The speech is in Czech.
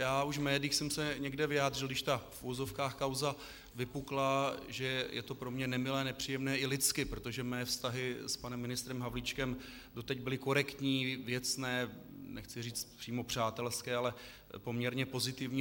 Já už v médiích jsem se někde vyjádřil, když ta v uvozovkách kauza vypukla, že je to pro mě nemilé, nepříjemné i lidsky, protože mé vztahy s panem ministrem Havlíčkem doteď byly korektní, věcné, nechci říct přímo přátelské, ale poměrně pozitivní.